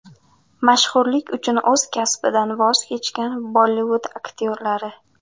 Mashhurlik uchun o‘z kasbidan voz kechgan Bollivud aktyorlari .